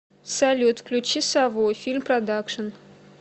салют включи сову фильм продакшин